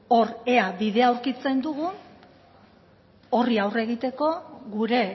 hor ea bidea aurkitzen dugun horri egiteko gure